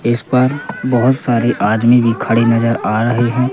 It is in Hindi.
इस पर बहुत सारे आदमी भी खड़े नज़र आ रहे हैं।